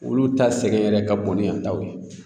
Olu ta sɛgɛn yɛrɛ ka bon ni yantaw ye